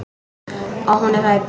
Og hún er hrædd.